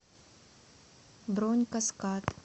бронь каскад